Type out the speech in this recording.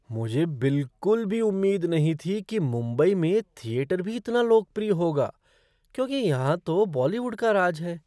मुझे बिलकुल भी उम्मीद नहीं थी कि मुंबई में थिएटर भी इतना लोकप्रिय होगा क्योंकि यह तो बॉलीवुड का राज है।